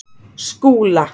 Skúla